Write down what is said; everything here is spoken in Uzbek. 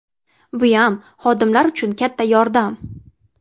Buyam xodimlar uchun katta yordam.